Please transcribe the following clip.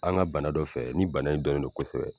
An ka bana dɔ fɛ, ni bana in dɔ don kosɛbɛ.